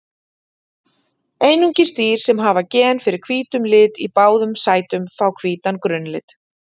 Einungis dýr sem hafa gen fyrir hvítum lit í báðum sætum fá hvítan grunnlit.